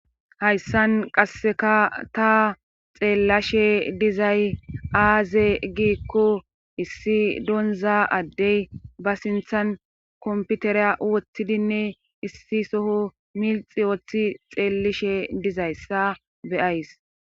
Hayssan qasseka ta xeellashe dizay aaze giikko issi donza addey ba sinthan komputereya wothtidinne issi soho milxi ooththi xeellishe dizayssa beyays